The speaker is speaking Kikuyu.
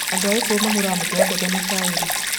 Andũ a Kikuyu mahũraga mũtu wa mbembe na cairi.